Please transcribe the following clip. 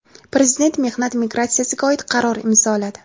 Prezident mehnat migratsiyasiga oid qaror imzoladi.